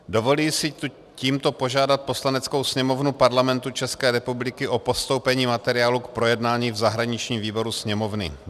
Dovolím si tímto požádat Poslaneckou sněmovnu Parlamentu České republiky o postoupení materiálu k projednání v zahraničním výboru Sněmovny.